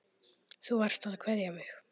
Þú varst að kveðja mig.